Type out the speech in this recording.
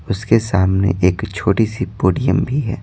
उसके सामने एक छोटी सी पोडियम भी है।